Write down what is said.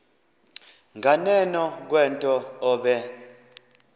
nganeno kwento obe